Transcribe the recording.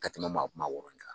Ka tɛmɛ maa maa wɔɔrɔ kan.